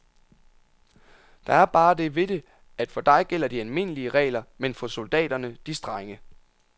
Der er bare det ved det, at for dig gælder de almindelige regler, men for soldaterne de strenge.